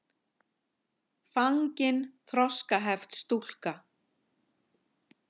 fangin þroskaheft stúlka.